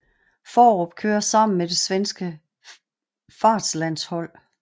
Faarup kører sammen med det svenske fartslandshold